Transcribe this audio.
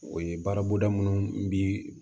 O ye baara boda munnu bi